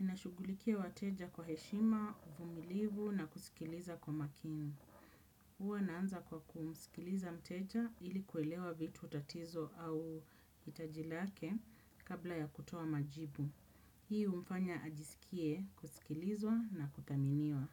Ninashugulikia wateja kwa heshima uvumilivu na kusikiliza kwa makini. Huwa naanza kwa kumsikiliza mteja ili kuelewa vitu tatizo au hitaji lake kabla ya kutoa majibu. Hii humfanya ajisikie kusikilizwa na kuthaminiwa.